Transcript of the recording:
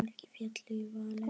Margir féllu í valinn.